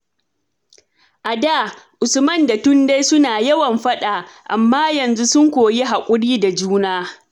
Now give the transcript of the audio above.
A da, Usman da Tunde suna yawan faɗa, amma yanzu sun koyi hakuri da juna.